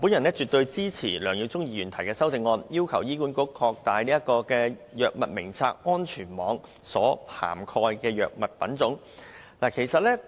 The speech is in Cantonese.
我絕對支持梁耀忠議員的修正案中對醫管局擴大《藥物名冊》安全網所涵蓋的藥物種類的要求。